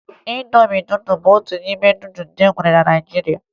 Ịndomi nudụ bụ otu n'ime nudụ ndị e nwere na Naịjirịa